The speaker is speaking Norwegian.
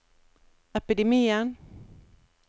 epidemien